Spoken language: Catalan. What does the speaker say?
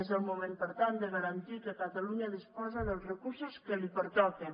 és el moment per tant de garantir que catalunya disposa dels recursos que li pertoquen